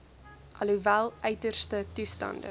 alhoewel uiterste toestande